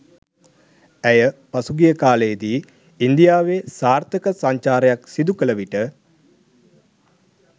ඇය පසුගිය කාලයේදී ඉන්දියාවේ සාර්ථක සංචාරයක් සිදු කළ විට